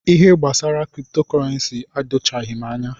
Ihe gbasara kripto kọrensi edochaghi m anya.